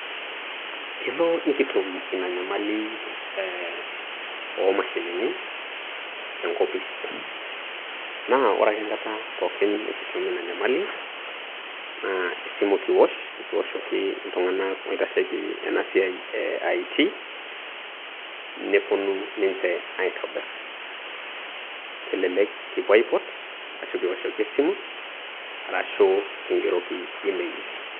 Kelo niktum Ina nyamali oo mashinini tenkopis, naa ore ake enkata pookin nikitum Ina Nyamali naa esimu kiwosh nikiwoshoki iltung'anak oitasheki ena siai eaitii neponu ninche aitobirr kelelek kipuo aipot arashu kipuo aipot arashu kigeroki emeil.